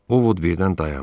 Ovod birdən dayandı.